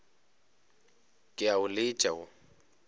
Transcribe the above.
ke a o letša wo